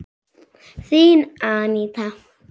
Þín, Aníta.